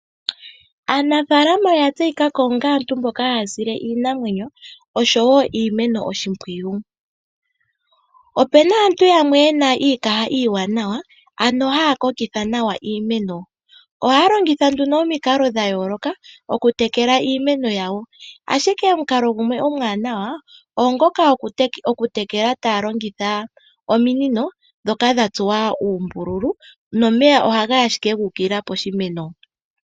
Aanafaalama oya tseyika ko onga aantu mboka haya sile iinamwenyo oshowo iimeno oshimpwiyu. Opu na aantu yamwe ye na iikaha iiwanawa ano haya kokitha nawa iimeno. Ohaya longitha nduno omikalo dha yooloka okutekela iimeno yawo, ashike omukalo gumwe omuwanawa oongoka gokutekela taya longitha ominino ndhoka dha tsuwa uumbululu nomeya ohaga yi ashike gu ukilila poshimeno.